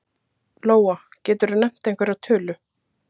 Lóa: Geturðu nefnt einhverja tölu?